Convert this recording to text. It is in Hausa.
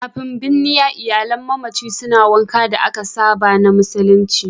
Kafin binniya, iyalan mamaci suna yin wankan da aka saba na musulunci.